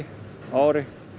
á ári